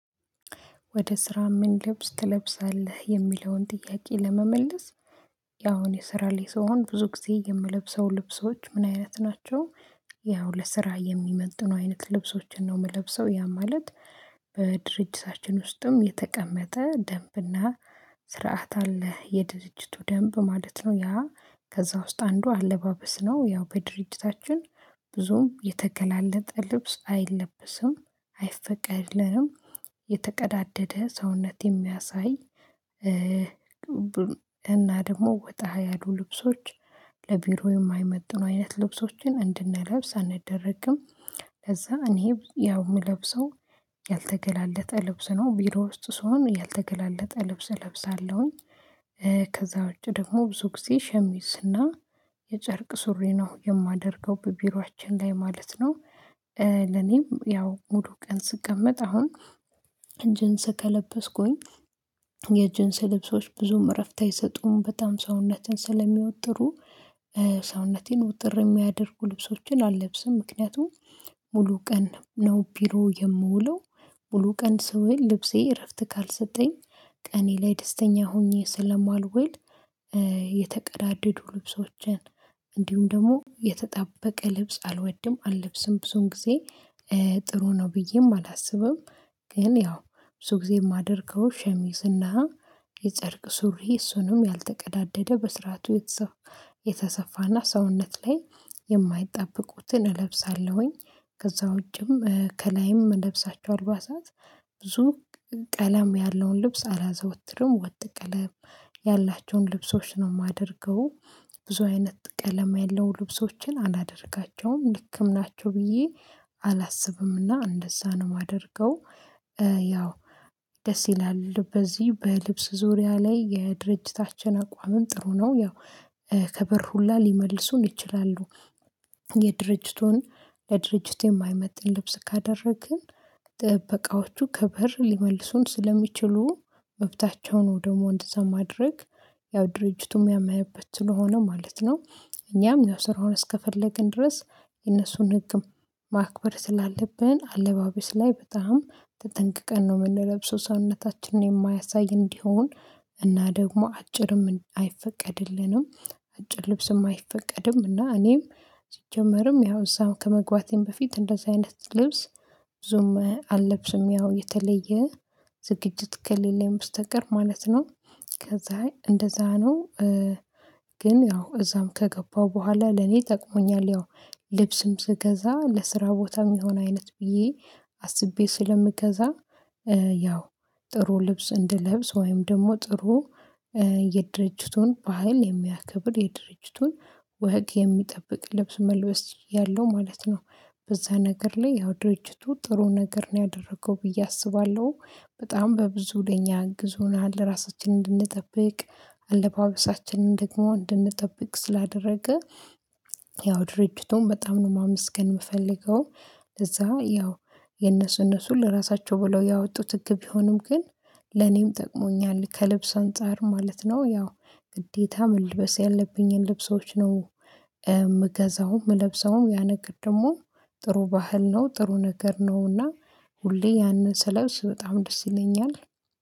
ወደ ስራ ምን ልብስ ትለብሳለህ የሚለውን ጥያቄ ለመመለስ? ያው እኔ ስራ ላይ ስሆን ብዙ ጊዜ የምለብሰው ልብሶች ምን አይነት ናቸው? ያው ለስራ የሚመጥኑ አይነት ልብሶችን ነው የምለብሰው ያም ማለት በድርጅታችን ውስጥም የተቀመጠ ደንብና ስርዓት አለ የድርጅቱ ደንብ ማለት ነው ያ ከዛ ውስጥ አንዱ አለባበስ ነው ያው በድርጅታችን ብዙም የተገላለጠ ልብስ አይለቀስም አይፈቀድልንም። የተቀዳደደ ሰውነት የሚያሳይ እና ደግሞ ወጣ ያሉ ልብሶች ለቢሮ የማይመጥኑ አይነት ልብሶችን እንድንለብስ አንደረግም። ከዛ እኔ ያው የምለብሰው ያልተገላለጠ ልብስ ነው ቢሮ ውስጥ ስሆን ያልተገላለጠ ልብስ እለብሳለሁኝ። ከዛ ውጪ ደግሞ ብዙ ጊዜ ሸሚዝና የጨርቅ ሱሪ ነው የማደርገው በቢሯችን ላይ ማለት ነው። ለኔም ያው ሙሉ ቀን ስቀመጥ አሁን ጂንስ ከለበስኩኝ የጅንስ ስልብሶች ብዙም እረፍት አይሰጡም በጣም ሰውነትን ስለሚወጥሩ። ሰውነቴን ውጥር የሚያደርጉ ልብሶችን አለብስም ምክንያቱም ሙሉ ቀን ነው ቢሮ የምውለው ሙሉ ቀን ስውል ልብሴ እረፍት ካልሰጠኝ ቀኔ ላይ ደስተኛ ሆኜ ስለማልውል። የተቀዳደዱ ልብሶችን እንዲሁም ደግሞ የተጣበቀ ልብስ አልወድም አለብስም ብዙን ጊዜ ጥሩ ነው ብዬም አላስብም። ግን ያው ብዙ ጊዜ የማደርገው ሸሚዝና የጨርቅ ሱሪ እሱንም ያልተቀዳደደ በስርዓቱ የተሰፋና ሰውነት ላይ የማይጣበቁትን እለብሳለሁኝ። ከዛ ውጪም ከላይም ምለብሳችሁ አልባሳት ብዙ ቀለም ያለውን ልብስ አላዘወትርም ወጥ ቀለም ያላቸውን ልብሶች ነው የማደርገው ብዙ አይነት ቀለም ያለውን ልብሶችን አላደርጋቸውም ልክም ናቸው ብዬ አላስብምና እንደዛ ነው የማደርገው። ያው ደስ ይላል በዚህ በልብስ ዙሪያ ላይ የድርጅታችን አቋም ጥሩ ነው ያው ከበር ሁላ ሊመልሱን ይችላሉ። የድርጅቱን ለድርጅቱ የማይመጥን ልብስ ካደረግን ጥበቃዎቹ ክበር ሊመልሱን ስለሚችሉ መብታቸው ነው ደግሞ እንደዛ ማድረግ ያው ድርጅቱም ያመነበት ስለሆነ ማለት ነው። እኛም ያው ስራውን እስከፈለግን ድረስ የነሱን ህግም ማክበር ስላለብን አለባበስ ላይ በጣም ተጠንቅቀን ነው የምንለብሰው ሰውነታችንን የማያሳይ እንዲሆን እና ደግሞ አጭርም አይፈቀድልንም። አጭር ልብስም አይፈቀድም እና እኔም ሲጀመርም ያው እዛው ከመግባቴም በፊት እንደዚህ አይነት ልብስ ብዙም አለብስም ያው የተለየ ዝግጅት ከሌለ በስተቀር ማለት ነው። ከዛ እንደዛ ነው። ግን ያው እዛም ከገባሁ በኋላ ለኔ ጠቅሞኛል ያው ልብስም ስገዛ ለስራ ቦታም የሚሆን አይነት ብዬ አስቤ ስለምገዛ ያው ጥሩ ልብስ እንድለብስ ወይም ደግሞ ጥሩ የድርጅቱን በሀል የሚያከብር የድርጅቱን ወግ የሚጠብቅ ልብስ መልበስ ያለው ማለት ነው። በዛ ነገር ላይ ያው ድርጅቱ ጥሩ ነገር ነው ያደረገው ብዬ አስባለሁ። በጣም በብዙ ለኛ አግዞናል እራሳችን እንድንጠብቅ አለባበሳችንን ደግሞ እንድንጠብቅ ስላደረገ ያው ድርጅቱን በጣም ነው ማመስገን የምፈልገው። ለዛ ያው የነሱ እነሱን ለራሳቸው ብለው ያወጡት ህግ ቢሆንም ግን ለኔም ጠቅሞኛል ከልብስ አንፃር ማለት ነው ያው ግዴታ መልበስ ያለብኝን ልብሶች ነው። የምገዛው የምለብሰውም ያነገር ደግሞ ጥሩ ባህል ነው ጥሩ ነገር ነውና ሁሌ ያንን ስለብስ በጣም ደስ ይለኛል